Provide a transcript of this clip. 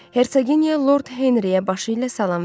Hersoginya Lord Henriyə başı ilə salam verdi.